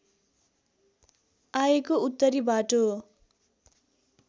आएको उत्तरी बाटो